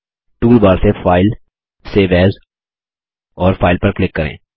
toolbar से file save as और file पर क्लिक करें